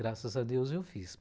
Graças a Deus eu fiz.